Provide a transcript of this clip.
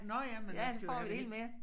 Ja så får vi det hele med